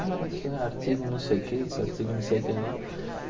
Ah, isso é artigo não sei o que, isso é artigo não sei o que lá.